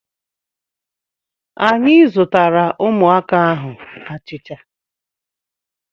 Anyị zụtaara ụmụaka ahụ achịcha.